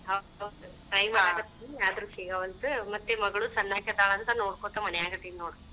ಹೌದ್ try ಮಾಡಾಕತ್ತೇನಿ ಆದರೂ ಸಿಗವಲ್ದ್, ಮತ್ತೆ ಮಗಳು ಸನ್ನಾಕಿ ಅದಾಳಂತ ನೋಡ್ಕೋಂತ ಮನ್ಯಾಗ ಅದೀನಿ ನೋಡ.